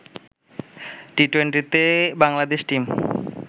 টি-টোয়েন্টিতে Bangladesh team